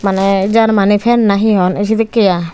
mane germany fan na he hon a sedekki aai.